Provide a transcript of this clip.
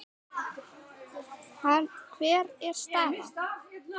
Hver er staðan?